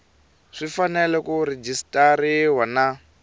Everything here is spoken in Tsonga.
swi fanele ku rejistariwa na